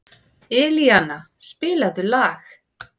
Elíana, spilaðu lag.